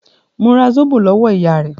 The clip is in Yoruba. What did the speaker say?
Mo ra Zóbò lọ́wọ́ ìyá rẹ̀.